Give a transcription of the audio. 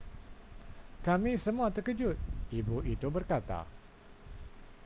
kami semua terkejut ibu itu berkata